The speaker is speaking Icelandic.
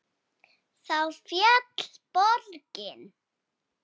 Þá féll borgin.